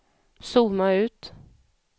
zooma ut